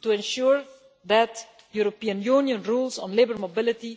to ensure that European Union rules on labour mobility